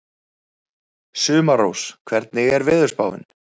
Sumarrós, hvernig er veðurspáin?